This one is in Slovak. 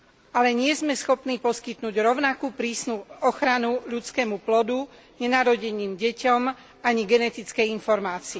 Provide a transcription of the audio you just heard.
Ale nie sme schopní poskytnúť rovnako prísnu ochranu ľudskému plodu, nenarodeným deťom ani genetickej informácii.